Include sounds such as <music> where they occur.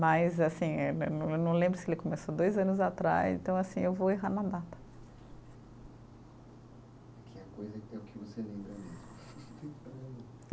Mas, assim, eh eu eu não lembro se ele começou dois anos atrás, então, assim, eu vou errar na data. <unintelligible>